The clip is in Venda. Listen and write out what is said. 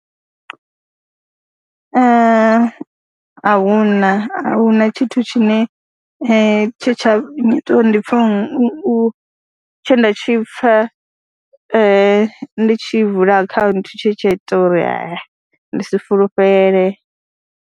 A hu na, a hu na tshithu tshine tshe tsha ngita uri ndi pfha u, tshe nda tshi pfha ndi tshi vula akhaunthu tshe tsha ita uri ndi si fulufhele.